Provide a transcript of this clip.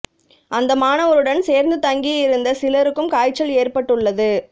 அந்த மாணவருடன் சேர்ந்து தங்கி இருந்த சிலருக்கும் காய்ச்சல் ஏற்பட்டுள்ளது